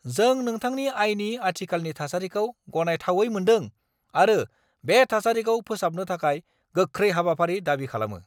जों नोंथांनि आयनि आथिखालनि थासारिखौ गनायथावै मोन्दों आरो बे थासारिखौ फोसाबनो थाखाय गोख्रै हाबाफारि दाबि खालामो।